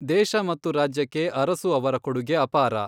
ದೇಶ ಮತ್ತು ರಾಜ್ಯಕ್ಕೆ ಅರಸು ಅವರ ಕೊಡುಗೆ ಅಪಾರ.